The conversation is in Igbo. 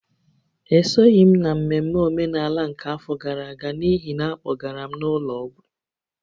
Esoghị m n’ememme omenala nke afọ gara aga n’ihi na a kpọgara m n’ụlọ ọgwụ